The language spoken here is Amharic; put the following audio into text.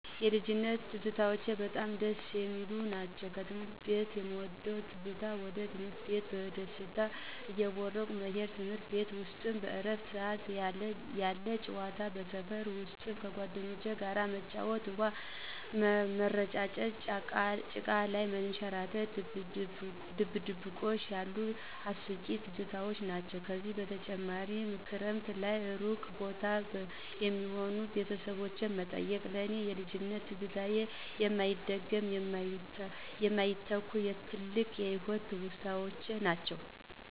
የልጅነት ትዝታዎቼ በጣም ደስ የሚሉ ናቸው። ከትምህርት ቤት የምወደው ትዝታ ወደ ትምህርት ቤት በደስታ እየቦረቅን መሄድ፤ ትምርት ቤት ውስጥ በእረፍት ሰዓት ያለ ጨዋታ። በሰፈር ውስጥ ከጓደኞቼ ጋር መጫወት፣ ውሃ ምረጫጨት፣ ጭቃ ላይ መንሸራረት፣ ድብብቆሽ ያሉኝ አስቂኝ ትዝታዎች ናቸው። ከዚህ በተጨማሪ ክረምት ላይ እሩቅ ቦታ የሚኖሩ ቤተሰቦችን መጠየቅ። ለእኔ የልጅነት ትዝታዎች የማይደገሙ፣ የማይተኩ፣ ትልቅ የህይወት ትውስታዎች ናቸው።